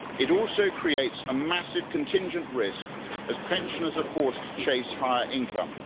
It also creates a massive contingent risk as pensioners are forced to chase higher income.